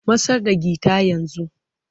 Matsar da guitar yanzu!